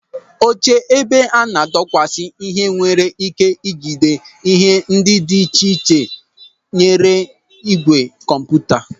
Oche ebe a na-adọkwasị ihe nwere ike ị jide ihe ndị dị iche iche tinyere ígwè kọmputa.